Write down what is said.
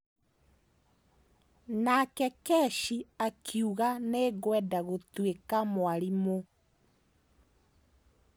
Nake Keshi akiuga, "Nĩ ngwenda gũtuĩka mwarimũ".